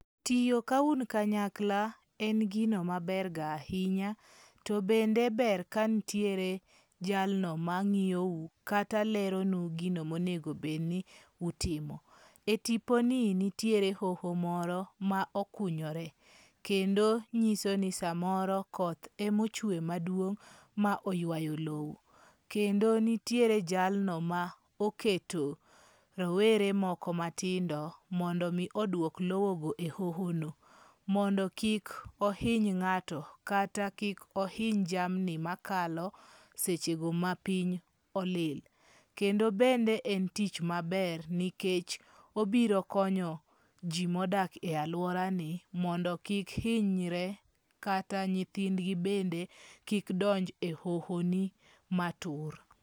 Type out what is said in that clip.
Tiyo ka un kanyakla en gino maber ga ahinya, to bende ber ka ntiere jalno ma ng'iyo u kata leronu gino ma onego bedni utimo. E tipo ni ntie hoho moro ma okunyore kendo nyiso ni samoro koth ema ochwe maduong' ma oywayo lowo. Kendo nitiere jalno moketo rowere moko matindo mondo mi oduok lowo go e hoho no mondo kik ohiny ng'ato kata kik ohiny jamni makalo sechego mapiny olil. Kendo bende en tich maber nikech obiro konyo jii modak e aluora mondo kik hinyre kata nyithindgi bende kik donj a hoho ni matur.